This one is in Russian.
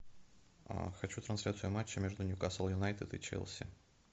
хочу трансляцию матча между ньюкасл юнайтед и челси